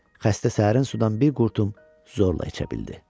Xəstə səhərin sudan bir qurtum zorla içə bildi.